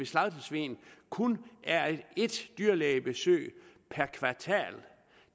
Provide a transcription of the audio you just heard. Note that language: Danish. slagtesvin kun er ét dyrlægebesøg per kvartal